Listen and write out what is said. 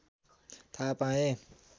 थाहा पाए